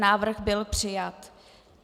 Návrh byl přijat.